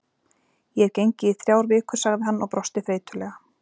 Ég hef gengið í þrjár vikur sagði hann og brosti þreytulega.